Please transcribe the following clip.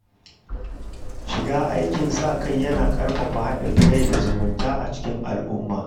Shiga aikin sa-kai yana ƙarfafa haɗin kai da zumunta a cikin al’umma.